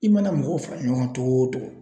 I mana mɔgɔw fara ɲɔgɔn kan togo o togo